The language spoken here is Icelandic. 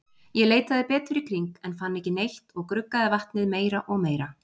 Ég leitaði betur í kring, en fann ekki neitt og gruggaði vatnið meira og meira.